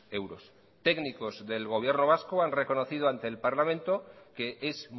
euros técnicos del gobierno vasco han reconocido ante el parlamento que es